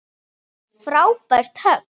Frábært högg.